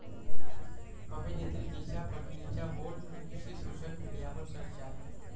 अभिनेत्री दिशा पटनीच्या बोल्ड लूकची सोशल मीडियावर चर्चा!